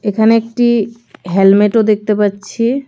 এখানে একটি হেলমেটও দেখতে পাচ্ছি।